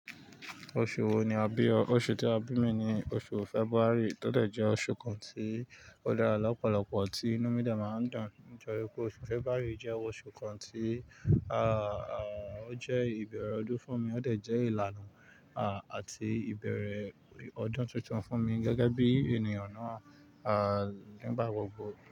Oṣù wo ni a bí ọ? Oṣù tí a bí mi ni oṣù February, tó dẹ̀ jẹ́ oṣù kan tí ó dára lọ́pọ̀lọpọ̀ tí inú mí de máa ń dùn. Nítorí pé oṣù February jẹ́ oṣù kan tí, àà, ó jẹ́ ìbẹ̀rẹ̀ ọdún fún mi, ó dẹ̀ jẹ́ ìlànà, à, àti ìbẹ̀rẹ̀ ọdún titun fún mi gẹ́gẹ́ bí ènìyàn náà, à, nígbà gbogbo.